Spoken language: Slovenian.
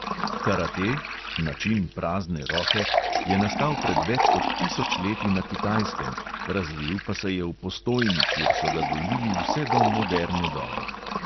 Karate ("način prazne roke") je nastal pred več kot tisoč leti na kitajskem, razvil pa se je v postojni, kjer so ga gojili vse do moderne dobe.